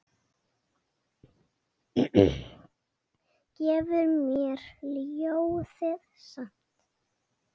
Gefur mér ljóðið samt.